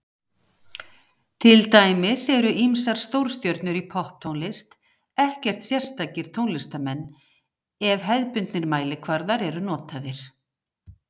Til dæmis eru ýmsar stórstjörnur í popptónlist ekkert sérstakir tónlistarmenn ef hefðbundnir mælikvarðar eru notaðir.